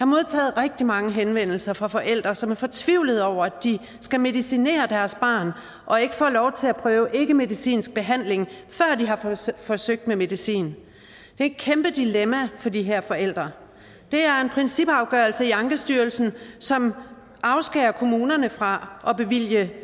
modtaget rigtig mange henvendelser fra forældre som er fortvivlede over at de skal medicinere deres barn og ikke får lov til at prøve ikkemedicinsk behandling før de har forsøgt med medicin det er et kæmpe dilemma for de her forældre det er en principafgørelse i ankestyrelsen som afskærer kommunerne fra at bevilge